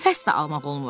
Nəfəs də almaq olmur.